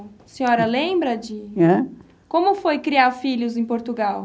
A senhora lembra de... Como foi criar filhos em Portugal?